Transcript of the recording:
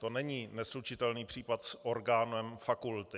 To není neslučitelný případ s orgánem fakulty.